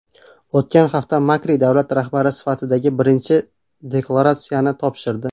O‘tgan hafta Makri davlat rahbari sifatidagi birinchi deklaratsiyasini topshirdi.